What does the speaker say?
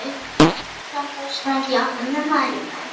Ari gekk þangað og sprændi í áttina að Mælifelli.